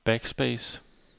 backspace